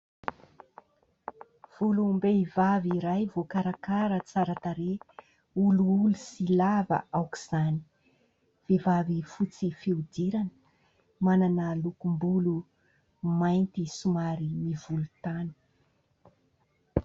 Volom-behivavy iray voakarakara tsara tarehy. Olioly sy lava aok'izany. Vehivavy fotsy fihodirana, manana lokom-bolo mainty somary volontany.